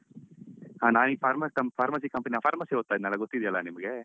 ಆ ಇ ಇಲ್ಲಿ pharmacy com pharmacy company ಲಿ ನಾನ್ pharmacy ಓದ್ತಾಇದ್ನಲ್ಲ ಗೊತ್ತಿದ್ಯಲ್ಲಾ ನಿಮಗೆ.